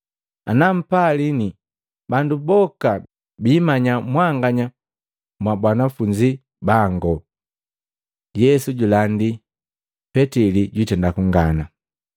Ana mpalini, bandu boka biimanya mwanganya mwa banafunzi bangu.” Yesu julandi Petili jwitenda kunkana Matei 26:31-35; Maluko 14:27-31; Luka 22:31-34